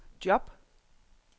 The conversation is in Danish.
job